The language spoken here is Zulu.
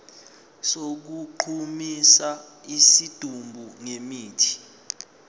sokugqumisa isidumbu ngemithi